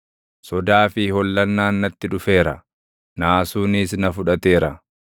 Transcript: Sodaa fi hollannaan natti dhufeera; naasuunis na fudhateera.